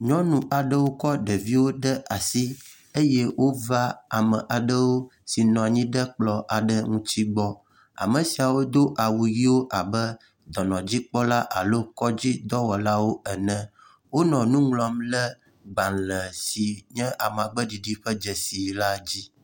Nyɔnu aɖewo kɔ ɖeviwo ɖe asi eye wova ame aɖewo si nɔ anyi ɖe kplɔ aɖe ŋuti gbɔ. Ame siawo do awu ʋɛ̃wo abe dɔnɔdzikpɔla alo kɔdzi dɔwɔlawo ene. Wonɔ nu ŋlɔm le gbalẽ si nye amagbe ɖiɖi ƒe dzesi la dzi.